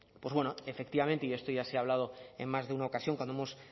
efectivamente y esto ya se ha hablado en más de una ocasión cuando hemos